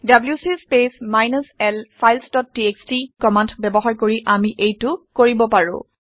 WC space minus l files dot TXT command ব্যৱহাৰ কৰি আমি এইটো কৰিব পাৰোঁ